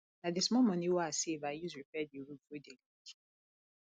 na di small moni we i save i use repair di roof wey dey leak